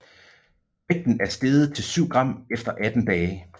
Vægten er steget til 7 gram efter 18 dage